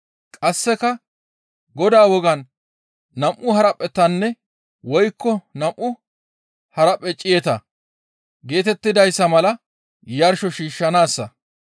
qasseka Godaa wogaan nam7u haraphphetanne woykko nam7u haraphphe ciyeta geetettidayssa mala yarsho shiishshanaassa.